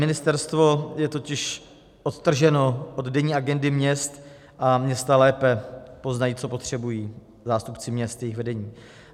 Ministerstvo je totiž odtrženo od denní agendy měst a města lépe poznají, co potřebují, zástupci měst, jejich vedení.